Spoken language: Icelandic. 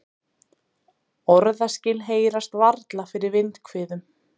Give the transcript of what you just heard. Orðaskil heyrast varla fyrir vindhviðum.